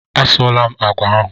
A sụọla m àgwà ahụ.